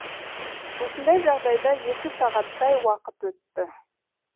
осындай жағдайда екі сағаттай уақыт өтті